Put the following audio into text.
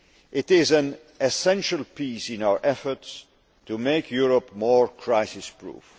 It is an essential piece in our efforts to make Europe more crisis proof.